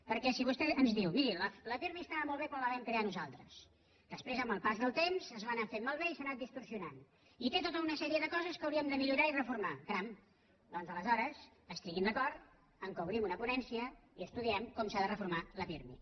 perquè si vostè ens diu miri la pirmi estava molt bé quan la vam crear nosaltres després amb el pas del temps es va anar fent malbé i s’ha anat distorsionant i té tota una sèrie de coses que hauríem de millorar i reformar caram doncs aleshores estiguin d’acord que obrim una ponència i estudiem com s’ha de reformar la pirmi